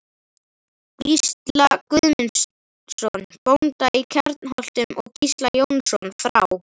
Gísla Guðmundsson, bónda í Kjarnholtum, og Gísla Jónsson frá